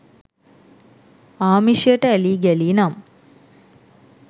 ආමිෂයට ඇලී ගැලී නම්